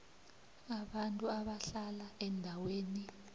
abantu abahlala eendaweni